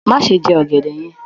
Má ṣe jẹ ọ̀gẹ̀dẹ̀ yẹn